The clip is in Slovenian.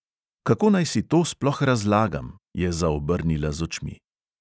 "Kako naj si to sploh razlagam?" je zaobrnila z očmi.